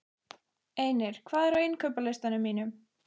Einir, hvað er á innkaupalistanum mínum?